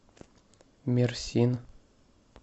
мерсин